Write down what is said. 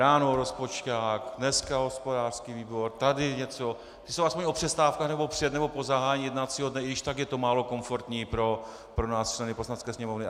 Ráno rozpočťák, dneska hospodářský výbor, tady něco, ty jsou aspoň o přestávkách nebo před nebo po zahájení jednacího dne, i když tak je to málo komfortní pro nás, členy Poslanecké sněmovny.